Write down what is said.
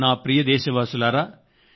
నా ప్రియమైన నాదేశవాసుల్లారా